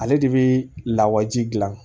Ale de bɛ lawaji gilan